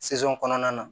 kɔnɔna na